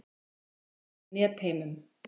Barist í Netheimum